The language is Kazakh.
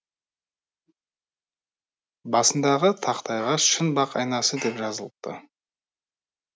басындағы тақтайға шын бақ айнасы деп жазылыпты